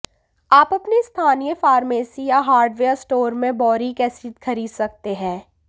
आप अपनी स्थानीय फार्मेसी या हार्डवेयर स्टोर में बॉरिक एसिड खरीद सकते हैं